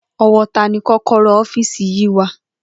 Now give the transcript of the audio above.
O̩wó̩ ta ni kó̩kó̩ró̩ ófíìsì yìí wà?